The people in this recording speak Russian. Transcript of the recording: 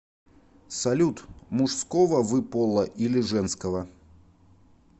салют мужского вы пола или женского